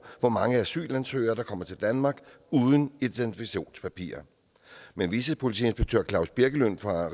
hvor mange asylansøgere der kommer til danmark uden identifikationspapirer men vicepolitiinspektør claus birkelund fra